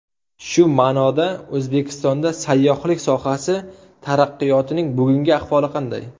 Shu ma’noda, O‘zbekistonda sayyohlik sohasi taraqqiyotining bugungi ahvoli qanday?